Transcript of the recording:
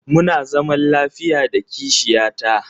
Muna zaman lafiya da kishiya ta.